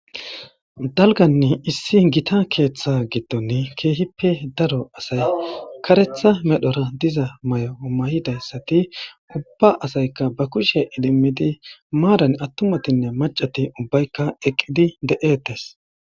Dalganni issi gita keeththa gidton keehippe daro asay karetha medhora diza may'o may'idayssati ubba asayka ba kushe idimmidi maadan attumatinne macati ubbaykka eqqidi de'etes.